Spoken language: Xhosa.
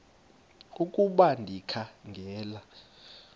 ukuba ndikha ngela